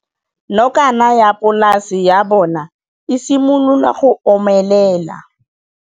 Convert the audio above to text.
Nokana ya polase ya bona, e simolola go omelela.